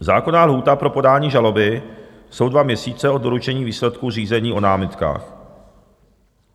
Zákonná lhůta pro podání žaloby jsou dva měsíce od doručení výsledku řízení o námitkách.